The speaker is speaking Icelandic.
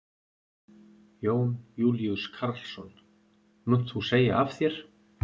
Jón Júlíus Karlsson: Munt þú segja af þér?